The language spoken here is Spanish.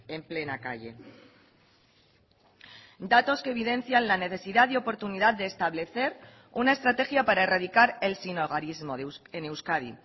en plena calle datos que evidencian la necesidad y oportunidad de establecer una estrategia para erradicar el sinhogarismo en euskadi